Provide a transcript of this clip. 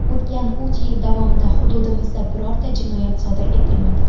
O‘tgan uch yil davomida hududimizda birorta jinoyat sodir etilmadi.